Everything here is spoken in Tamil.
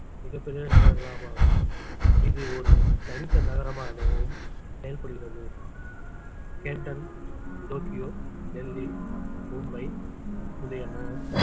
மிகப் பெரிய நகரங்களாக மாறும் இது ஒரு தனித்த நகரமாகவும் செயல்படுகிறது கேன்டன் டோக்கியோ டெல்லி மும்பை முதலியன